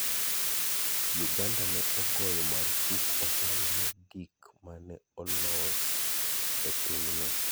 Uganda ne ogoyo marfuk ohala mag gik ma ne olos e pinyno.